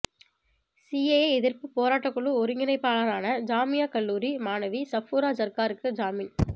CAA எதிர்ப்பு போராட்டக்குழு ஒருங்கிணைப்பாளரான ஜாமியா கல்லூரி மாணவி சஃபூரா ஜர்காருக்கு ஜாமின்